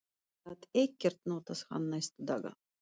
Ég gat ekkert notað hann næstu daga.